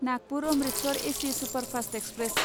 Nagpur Amritsar AC superfast express